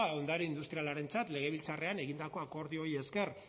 ondare industrialaren legebiltzarrean egindako akordioei esker